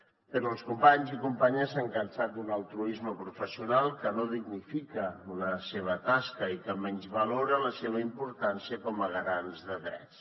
però els companys i companyes s’han cansat d’un altruisme professional que no dignifica la seva tasca i que menysvalora la seva importància com a garants de drets